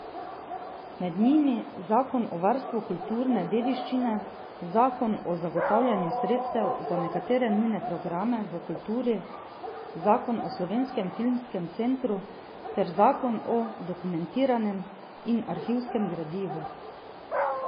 Med njimi zakon o varstvu kulturne dediščine, zakon o zagotavljanju sredstev za nekatere nujne programe v kulturi, zakon o Slovenskem filmskem centru ter zakon o dokumentarnem in arhivskem gradivu.